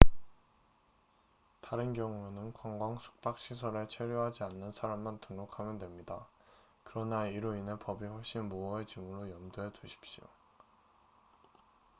다른 경우에는 관광 숙박 시설에 체류하지 않는 사람만 등록하면 됩니다 그러나 이로 인해 법이 훨씬 모호해지므로 염두해두십시오